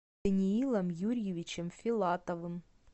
даниилом юрьевичем филатовым